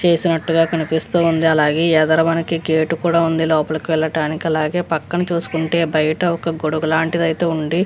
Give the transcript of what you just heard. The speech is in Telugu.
చేసినట్టుగా కనిపిస్తూ ఉంది. అలాగే గేటు కూడా ఉంది లోపలికి వెళ్ళటానికి అలాగే పక్కన చూసుకుంటే బయట ఒక గొడుగు లాంటిదైతే ఉంది.